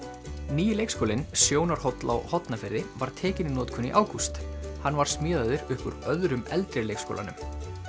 nýi leikskólinn Sjónarhóll á Hornafirði var tekinn í notkun í ágúst hann var smíðaður upp úr öðrum eldri leikskólanum